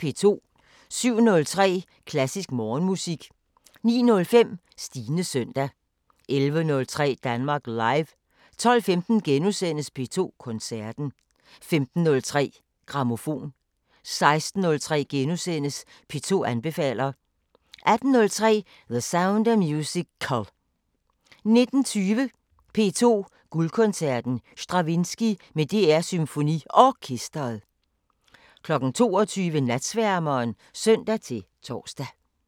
07:03: Klassisk Morgenmusik 09:05: Stines søndag 11:03: Danmark Live 12:15: P2 Koncerten * 15:03: Grammofon 16:03: P2 anbefaler * 18:03: The Sound of Musical 19:20: P2 Guldkoncerten: Stravinskij med DR SymfoniOrkestret 22:00: Natsværmeren (søn-tor)